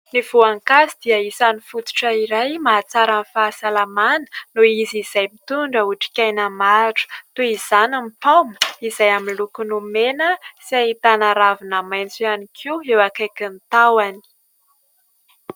Ny voankazo dia isany fototra iray mahatsara ny fahasalamana noho izy izay mitondra otrikaina maro, toy izany ny paoma izay amin'ny lokony mena sy ahitana ravina maitso ihany koa eo akaikin'ny tahony.